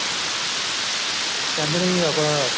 ਕਹਿੰਦੇ ਨੇ ਜੀ ਆਪਣਾ